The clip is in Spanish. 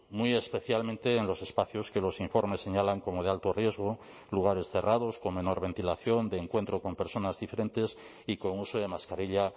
muy especialmente en los espacios que los informes señalan como de alto riesgo lugares cerrados con menor ventilación de encuentro con personas diferentes y con uso de mascarilla